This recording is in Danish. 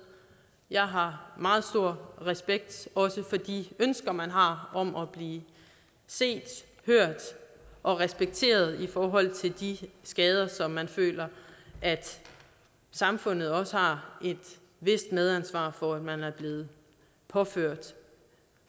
jeg har meget stor respekt for de ønsker man har om at blive set hørt og respekteret i forhold til de skader som man føler at samfundet også har et vist medansvar for at man er blevet påført